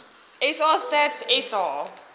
sa stats sa